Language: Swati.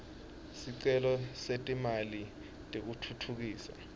sicelo setimali tekutfutfukisa